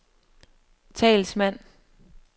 talsmand